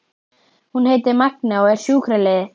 Hún heitir Magnea og er sjúkraliði.